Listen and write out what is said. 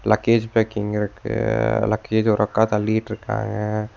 Luggage packing இருக்கு லக்கேஜ்ஜ ஒரு அக்கா தள்ளிட்ருக்காங்க.